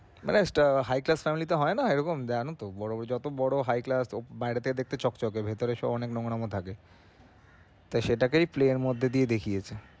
মানে একটা high class family তে হয়না ওরকম জানোই তো বড় যত বড় high clss বাইরে থেকে দেখতে চকচকে ভেতরে থাকে তো সেটাকেই play এর মধ্যে দিয়ে দেখিয়েছে।